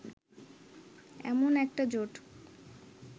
এমন একটা জোট